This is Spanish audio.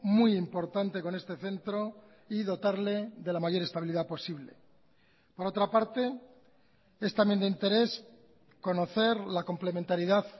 muy importante con este centro y dotarle de la mayor estabilidad posible por otra parte es también de interés conocer la complementariedad